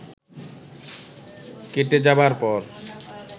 কেটে যাবার পর